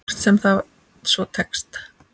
Hvort sem það svo tekst.